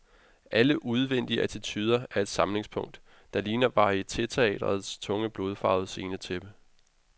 Alle udvendige attituder er et samlingspunkt, der ligner varietéteatrets tunge, blodfarvede scenetæppe.